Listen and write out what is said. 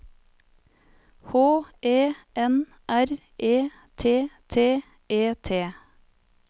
H E N R E T T E T